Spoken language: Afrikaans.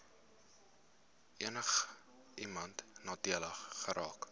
enigiemand nadelig geraak